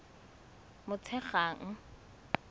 motshegang